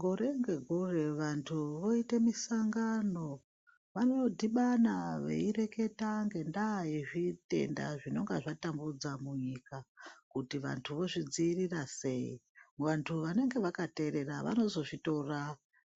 Gore ngegore vantu voita musangano vanodhibana veireketa nendaa yezvitenda zvinenge zvatambudza munyika kuti vantu vozvidzivirira sei vantu vanenge vakateerera vanozozvitora